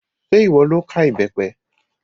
Ṣé ìwọ lo ká ìbẹ́pẹ?